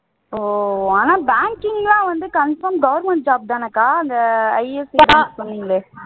ஓ ஆனா banking எல்லாம் confirm government job தானக்கா இல்லை